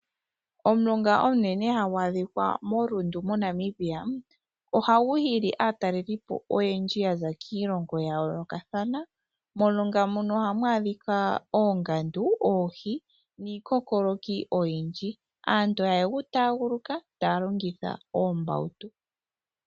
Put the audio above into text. Omulonga omunene hagu adhika moRundu moNamibia, ohagu hili aatalelipo oyendji yaza kiilongo ya yoolokathana. Momulongo mono ohamu adhika, oongandu , oohi, niikokoloki oyindji. Aantu ohaye gu taaguluka taya longitha oombawutu.